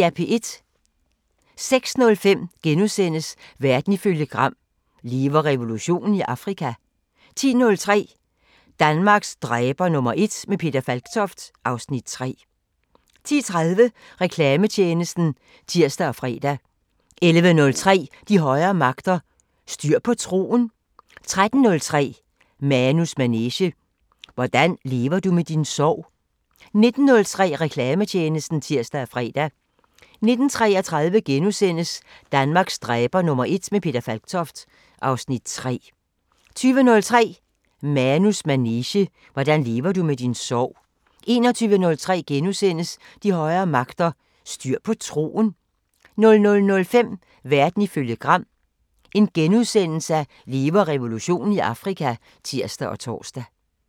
06:05: Verden ifølge Gram: Lever revolutionen i Afrika? 10:03: Danmarks dræber #1 – med Peter Falktoft (Afs. 3) 10:30: Reklametjenesten (tir og fre) 11:03: De højere magter: Styr på troen? 13:03: Manus manege: Hvordan lever du med din sorg? 19:03: Reklametjenesten (tir og fre) 19:33: Danmarks dræber #1 – med Peter Falktoft (Afs. 3)* 20:03: Manus manege: Hvordan lever du med din sorg? 21:03: De højere magter: Styr på troen? * 00:05: Verden ifølge Gram: Lever revolutionen i Afrika? *(tir og tor)